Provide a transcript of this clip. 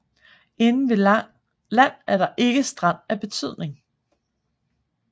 Inde ved land er der ikke strand af betydning